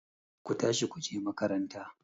Ku tashi ku je makaranta!